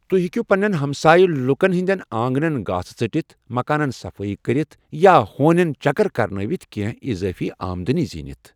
تہۍ ہیٚکِو پنٛنٮ۪ن ہمسٲیہ لٗكن ہٕنٛدٮ۪ن آنگنن گھاسہٕ ژٔٹِتھ، مكانن صفٲیی كٔرِتھ، یا ہونٮ۪ن چكر كرنٲوِتھ كٮ۪نہہ اِضٲفی آمدنی زیٖنِتھ ۔